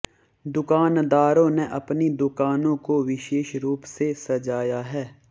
दुकानदारों ने अपनी दुकानों को विशेष रूप से सजाया है